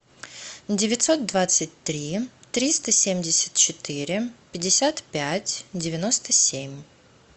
девятьсот двадцать три триста семьдесят четыре пятьдесят пять девяносто семь